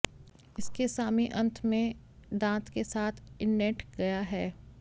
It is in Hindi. इसके सामी अंत में दांत के साथ इंडेंट गया है